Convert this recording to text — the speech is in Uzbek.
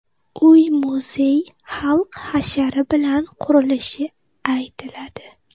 Uy-muzey xalq hashari bilan qurilishi aytiladi.